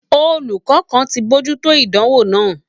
Olùkọ kàn tí n mojuto ìdánwò náà.